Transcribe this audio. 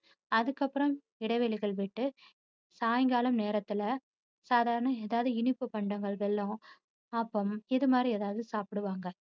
அதுக்கப்பறம் இடைவெளிகள் விட்டு சாயங்காலம் நேரத்துல சாதாரண ஏதாவது இனிப்பு பண்டங்கள் ஆப்பம் இது மாதிரி ஏதாவது சாப்பிடுவாங்க.